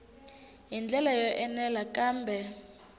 hi ndlela yo enela kambe